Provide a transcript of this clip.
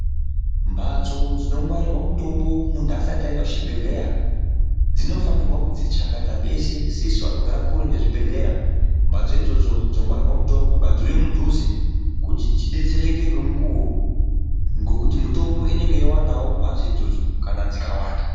Mbatso dzinongwarirwa mutombo muntu asati aenda kuchibhehleya dzinofanirwa kuti dziti chakata pese sesu vanogara kure nezvibhedhlera mbatso idzodzo dzongwarirwa mutombo ngadziuye mudhuze kuti tidetsereke ngemukuwo ngekuti mitombo inenge yeiwandawo kana mhatso idzodzo dzikawanda.